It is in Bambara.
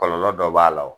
Kɔlɔlɔ dɔ b'a la o